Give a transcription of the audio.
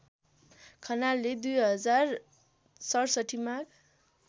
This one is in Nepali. खनालले २०६७ माघ